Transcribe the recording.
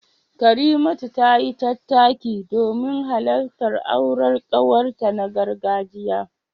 Karimatu tayi tattaki domin halartar auren kawarta na gargajiya.